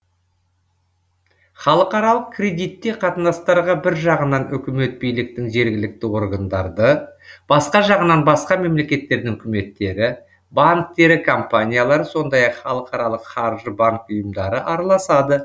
халықаралық кредитте қатынастарға бір жағынан үкімет биліктің жергілікті органдары да басқа жағынан басқа мемлекеттердің үкіметтері банктері компаниялары сондай ақ халықаралық қаржы банк ұйымдары араласады